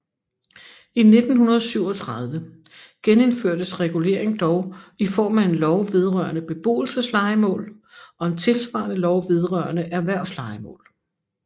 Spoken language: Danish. I 1937 genindførtes regulering dog i form af en lov vedrørende beboelseslejemål og en tilsvarende lov vedrørende erhvervslejemål